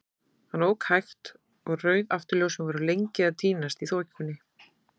Hann ók hægt, og rauð afturljósin voru lengi að týnast í þokunni.